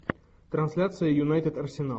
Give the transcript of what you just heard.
трансляция юнайтед арсенал